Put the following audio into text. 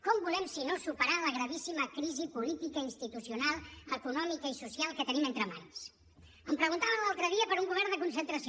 com volem si no superar la gravíssima crisi política institucional econòmica i social que tenim entre mans em preguntaven l’altre dia per un govern de concentració